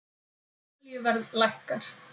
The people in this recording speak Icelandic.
Olíuverð lækkar